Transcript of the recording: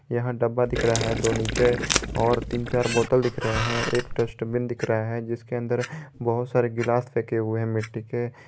यहां डब्बा दिख रहा है दो नीचे और तीन चार बोतल दिख रहे हैं एक डस्टबिन दिख रहा है जिसके अंदर बहुत सारी ग्लास फेंके हुए हैं मिट्टी के।